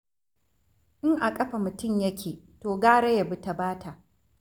In a ƙafa mutum yake to gara ya bi ta Bata.